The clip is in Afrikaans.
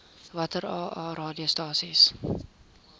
watter aa radiostasies